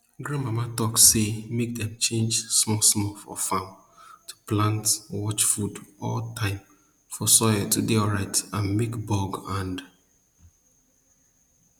grandmama talk say make dem change small small for farm to plant watch food all time for soil to dey alright and make bug and